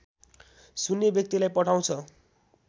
सुन्ने व्यक्तिलाई पठाउँछ